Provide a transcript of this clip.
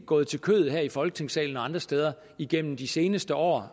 gået til kødet her i folketingssalen og andre steder igennem de seneste år